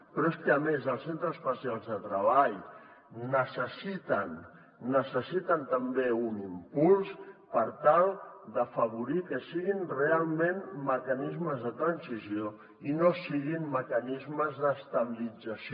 però és que a més els centres especials de treball necessiten també un impuls per tal d’afavorir que siguin realment mecanismes de transició i no siguin mecanismes d’estabilització